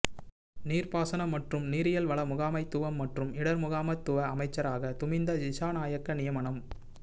நீர்ப்பாசன மற்றும் நீரியல்வள முகாமைத்துவம் மற்றும் இடர்முகாமைத்துவ அமைச்சராக துமிந்த திஸாநாயக்க நியமனம்